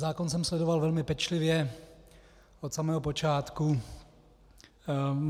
Zákon jsem sledoval velmi pečlivě od samého počátku.